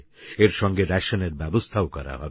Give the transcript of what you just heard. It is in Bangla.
এর সঙ্গে রেশনের ব্যবস্থাও করা হবে